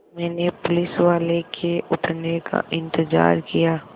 मैंने पुलिसवाले के उठने का इन्तज़ार किया